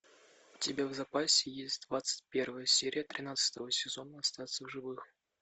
у тебя в запасе есть двадцать первая серия тринадцатого сезона остаться в живых